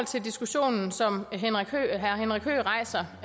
til diskussionen som herre henrik høegh rejser